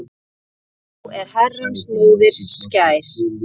Frú er Herrans móðir skær.